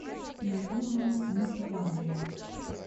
надежда нукзаровна